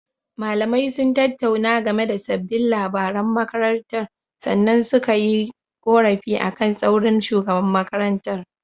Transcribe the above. Malamai sun tattauna game da sabbin labaran makarantar sannan suka yi ƙorafi akan tsaurin shugaban makarantar.